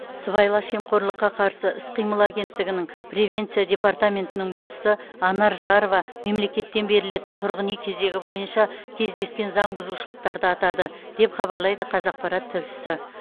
сыбайлас жемқорлыққа қарсы іс қимыл агенттігінің превенция департаментінің басшысы анар жарова мемлекеттен берілетін тұрғын үй кезегі бойынша кездескен заңбұзушылықтарды атады деп хабарлайды қазақпарат тілшісі